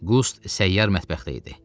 Qust səyyar mətbəxdə idi.